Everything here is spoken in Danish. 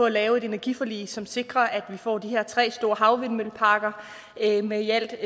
at lave et energiforlig som sikrer at vi får de her tre store havvindmølleparker med i alt